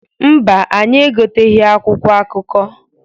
Mba, anyị egoteghi akwụkwọ akụkọ.